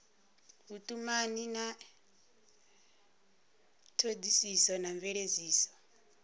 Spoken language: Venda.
vhutumani ya thodisiso na mveledziso